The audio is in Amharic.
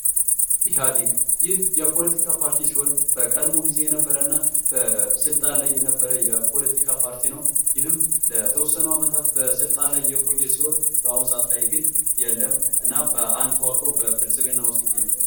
ኢሀዲግ:- ይህ የፖለቲካ ፓርቲ ሲሆን በቀድሞ ጊዜ የነበረ እና በስልጣን ላይ የነበረ የፖለቲካ ፓርቲ ነዉ። ይህም ለተወሰኑ ዓመታት በስልጣን ላይ የቆየ ሲሆን አሁን ሰዓት ላይ ግን ላይ የለም። እና በአንድ ተዋቅሮ በብልፅግና ዉስጥ ይገኛል።